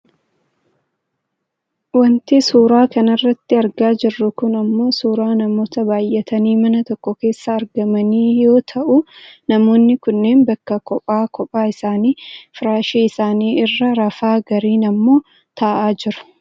Wanti nuti suuraa kanarratti argaa jirru kun ammoo suuraa namoota baayyatanii mana tokko keessatti argamanii yoo ta'u namoonni kunneen bakka qophaa qophaa isaanii firaashii isaanii irra rafaa gariin ammoo taa'aa jiru.